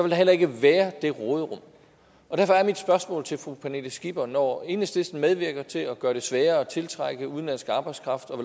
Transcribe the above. der heller ikke være det råderum og derfor er mit spørgsmål til fru pernille skipper når enhedslisten medvirker til at gøre det sværere at tiltrække udenlandsk arbejdskraft og